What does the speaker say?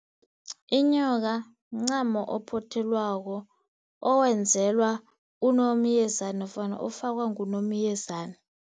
Inyoka mncamo ophothelweko owenzelwa uNomyezana nofana ofakwa nguNomyezana.